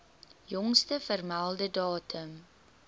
jongste vermelde datum